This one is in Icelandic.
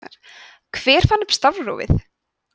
hver fann upp stafrófið